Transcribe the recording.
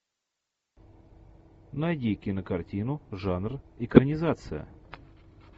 найди кинокартину жанр экранизация